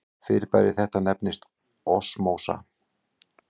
Fyrirbæri þetta nefnist osmósa.